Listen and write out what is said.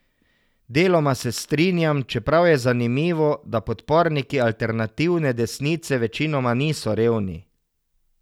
Deloma se strinjam, čeprav je zanimivo, da podporniki alternativne desnice večinoma niso revni.